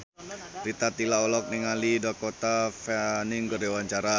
Rita Tila olohok ningali Dakota Fanning keur diwawancara